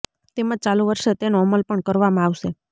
તેમજ ચાલુ વર્ષે તેનો અમલ પણ કરવામાં આવશે